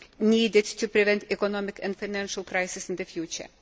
needed to prevent economic and financial crises in the future.